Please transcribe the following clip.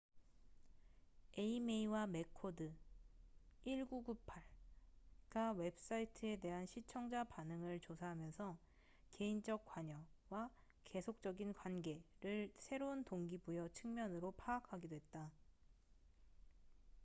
에이메이와 매코드1998가 웹사이트에 대한 시청자 반응을 조사하면서 '개인적 관여'와 '계속적인 관계'를 새로운 동기부여 측면으로 파악하기도 했다